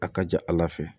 A ka ca ala fɛ